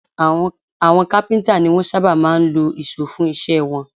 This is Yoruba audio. Àwọn kápíntà ni wọ́n sábà máa ń lo ìṣó fún iṣẹ́ wọn